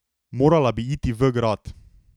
Morala bi iti v grad.